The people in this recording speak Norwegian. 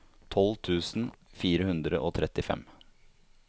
tolv tusen fire hundre og trettifem